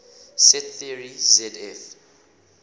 set theory zf